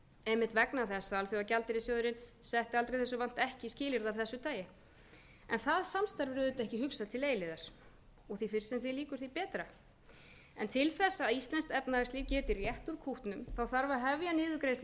einmitt vegna þess að alþjóðagjaldeyrissjóðurinn setti aldrei þessu vant ekki skilyrði af þessu tagi en það samstarf er auðvitað ekki hugsað til eilífðar og því fyrr sem því lýkur því betra en til þess að íslenskt efnahagslíf geti rétt úr kútnum þarf að hefja niðurgreiðslu